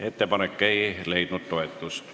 Ettepanek ei leidnud toetust.